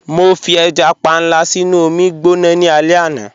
Mọ fi ẹja pànla sínu omi gbọná ní alẹ̀ àná.